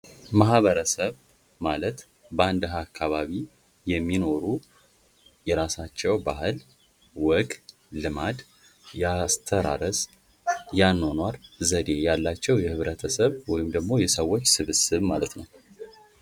ማህበረሰብ ማለት በአንድ አካባቢ የሚኖሩ የራሳቸው ባህል ፣ወግ፣ ልማድ፣ ያአስተራረስ ፣የአኗኗር ዘዴ ያላቸው የህብረተሰብ ወይም ደግሞ የሰዎች ስብስብ ማለት ነው።